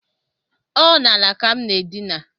Ọ n’ala ka m na-edina